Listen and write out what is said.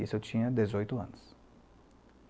Isso eu tinha dezoito anos.